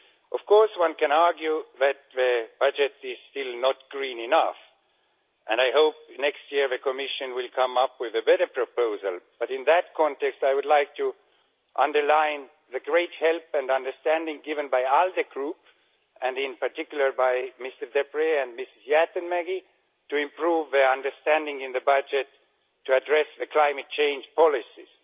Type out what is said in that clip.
Of course, one can argue that the budget is still not green enough, and I hope that next year the Commission will come up with a better proposal, but in that context, I would like to underline the great help and understanding given by the Alliance of Liberals and Democrats for Europe Group and in particular by Mr Deprez and Ms Jäätteenmäki to improve their understanding in the budget to address the climate change policies.